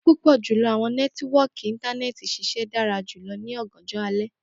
Pupọ julọ awọn nẹtiwọọki Intanẹẹti ṣiṣẹ dara julọ ni ọganjọ alẹ